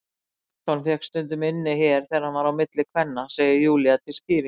Anton fékk stundum inni hér þegar hann var á milli kvenna, segir Júlía til skýringar.